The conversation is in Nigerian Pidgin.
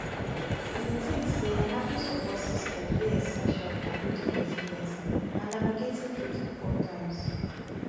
i dey think say having support system dey essential for building resilience and navigating through difficult times